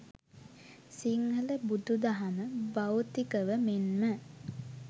සිංහල බුදු දහම භෞතිකව මෙන්ම